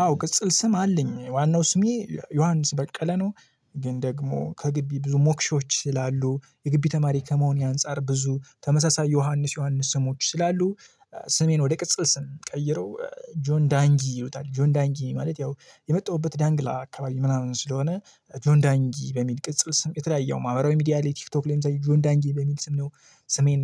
አዎ ቅጽል ስም አለኝ ዋናው ስሜ ዮሐንስ በቀለ ነው ግን ደግሞ ከግቢ ብዙ ሞክሾች ስላሉ የግብይ ተማሪ ከመሆኔ አንፃር ብዙ ተመሳሳይ ዮሐንስ ዮሐንስ ስሞች ስላሉ ስሜን ወደ ቅጽል ስም ቀይረው ጆን ዳንጊ ይሄዱታል ጆን ዳንጊ ማለት ያው የመጣሁበት ዳንግላ አካባቢ ምናምን ስለሆነ ጆን ዳንጊ በሚል ቅጽል ስም የተለያየ ያው ማህበራዊ ሚዲያ ላይ ቲክቶክ ላይም ሳይ ጆን ዳንጊ በሚል ስም ነው ስሜን